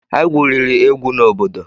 Anyị gwuriri egwu na obodo.